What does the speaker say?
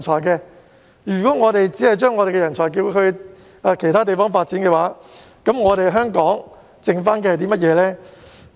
如果我們只把人才送往其他地方發展，香港還剩下甚麼呢？